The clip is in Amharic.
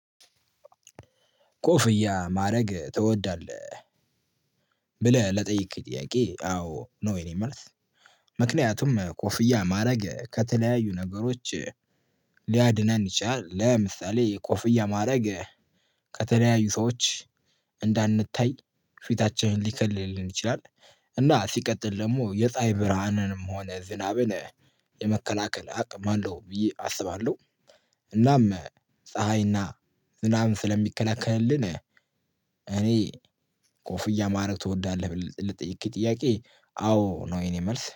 ኮፍያ ማድረግ ትወዳለህ ብለህ ለጠየከኝ ጥያቄ አዎ ነው የኔ መልስ። ምክንያቱም ኮፊያ ማድረግ ከተለያዩ ነገሮች ሊያድነን ይችላል። ለምሳሌ የኮፍያ ማድረግ ከተለያዩ ሰዎች እንዳንታይ ፊታችንን ሊከልልን ይችላል። እና ሲቀጥል ደግሞ የፀሀይ ብርሃንንም ሆነ ዝናብን የመከላከል አቅም አለው ብዬ አስባለሁ። እናም ፀሀይ እና ዝናብን ሰለሚከላከልልን እኔ ኮፍያ ማድረግ ትወዳለህ ብለህ ለጠየከኝ ጥያቄ አዎ ነው የኔ መልስ